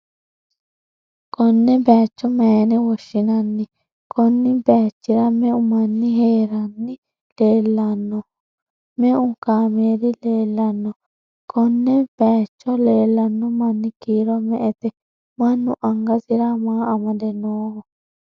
konne bayicho mayyiine woshshinanni? konni bayichi'ra me'u manni ha'ranni leellanni no?me'u kaameeli leellanno? konne bayicho leellanno manni kiiro me''ete? mannu angasara maa amade nooho ?